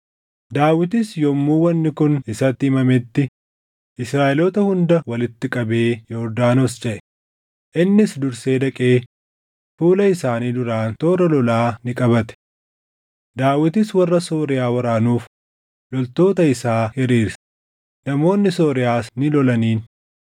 Daawitis yommuu wanni kun isatti himametti, Israaʼeloota hunda walitti qabee Yordaanos ceʼe; innis dursee dhaqee fuula isaanii duraan toora lolaa ni qabate. Daawitis warra Sooriyaa waraanuuf loltoota isaa hiriirse; namoonni Sooriyaas ni lolaniin.